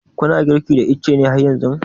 Ku na girki da ice har yanzu?